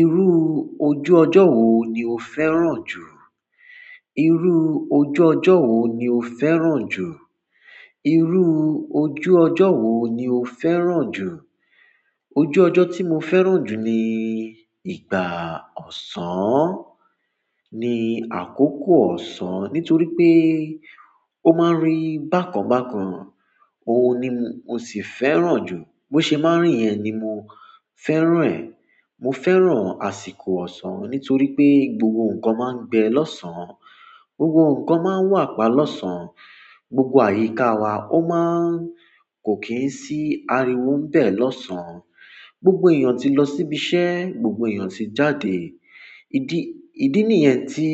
Iru ojú ojo wo ni o fẹ́ràn ju. Irú ojú ọjọ́ wo ni o fẹ́ràn jù? Iru ojú ojo wo ni o fẹ́ràn ju? Ojú ojo ti mo fẹ́ràn ju ni ìgbà osan ni àkókò ọ̀sán nítorí pé ó máa ń rí bákan bákan. Òun ni mo sì fẹ́ràn jù. Bó ṣe máa ń rí yẹn ni mo fẹ́ràn ẹ̀. Mo fẹ́ràn àsìkò ọ̀sán nítorí pé gbogbo ǹkan máa ń gbẹ lọ́sàn. Gbogbo ǹkan máa ń wà pa lọ́sàn. Gbogbo àyíká wa ó máa ń kò kí ń sí ariwo ń bẹ̀ lọ́sàn. Gbogbo èèyàn ti lọ síbi iṣẹ́, gbogbo èèyàn ti jáde. Ídí, ìdí nìyẹn tí